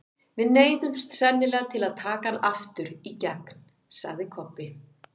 Við neyðumst sennilega til að taka hann aftur í gegn, sagði Kobbi.